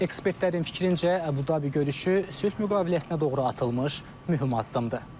Ekspertlərin fikrincə, Abu-Dabi görüşü sülh müqaviləsinə doğru atılmış mühüm addımdır.